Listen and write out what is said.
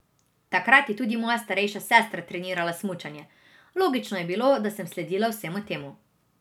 Takrat je tudi moja starejša sestra trenirala smučanje, logično je bilo, da sem sledila vsemu temu.